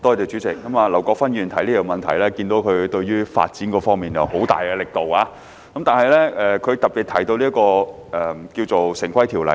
主席，劉國勳議員提出這項質詢，可見他對於發展方面用了很大力度，其中特別提到《條例》。